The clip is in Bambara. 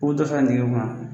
U bɛ dɔ sara nɛgɛ kun na.